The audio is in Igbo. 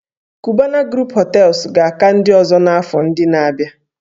"Cubana group Hotels" ga-aka ndị ọzọ n'afọ ndị na-abịa